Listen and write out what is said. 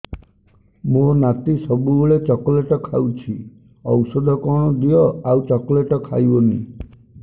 ମୋ ନାତି ସବୁବେଳେ ଚକଲେଟ ଖାଉଛି ଔଷଧ କଣ ଦିଅ ଆଉ ଚକଲେଟ ଖାଇବନି